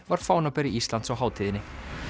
var fánaberi Íslands á hátíðinni